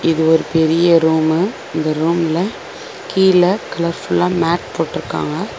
இது ஒரு பெரிய ரூமு இந்த ரூம்ல கீழ கலர்ஃபுல்லா மேட் போட்ருக்காங்க.